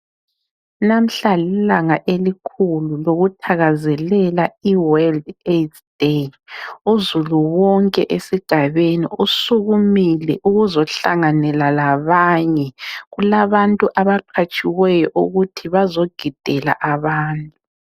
Namhla lilanga elikhulu lokuthakazelela (iWorld Aids Day) uzulu wonke esigabeni usukumile ukuzohlanganela labanye, kulabantu abaqhatshiweyo ukuthi bazogidela abantu.